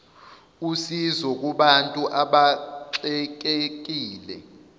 usizo kubantu abaxekekile